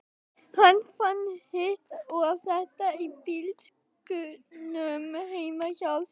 Hann fann hitt og þetta í bílskúrnum heima hjá þér.